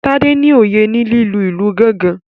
Tade ní oyé ní lílu ilù gangan